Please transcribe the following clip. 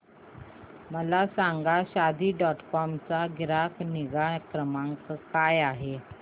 मला सांगा Shaadi dot com चा ग्राहक निगा क्रमांक काय आहे